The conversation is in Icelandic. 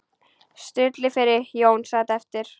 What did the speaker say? Stulli fór, Jón sat eftir.